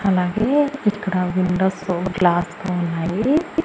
అలాగే ఇక్కడ windows glass లు ఉన్నాయి.